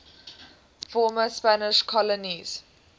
former spanish colonies